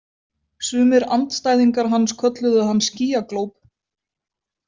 Sumir andstæðingar hans kölluðu hann skýjaglóp.